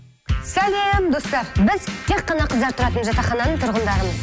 сәлем достар біз тек қана қыздар тұратын жатақхананың тұрғындарымыз